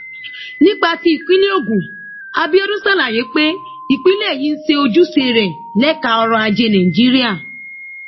nípa tí ìpínlẹ ogun abiodun ṣàlàyé pé ìpínlẹ yìí ń ṣe ojúṣe rẹ lẹka ọrọajé nàìjíríà